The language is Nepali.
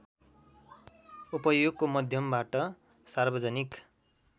उपयोगको मध्यमबाट सार्वजनिक